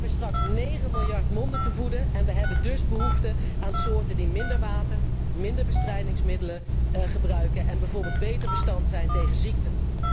We hebben straks negen miljard monden te voeden en we hebben dus behoefte aan soorten die minder water en minder bestrijdingsmiddelen gebruiken en bijvoorbeeld beter bestand zijn tegen ziekten.